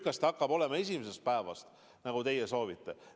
Kas see hakkab olema esimesest päevast, nagu teie soovite?